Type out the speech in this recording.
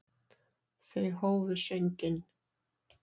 Þau hófu sönginn.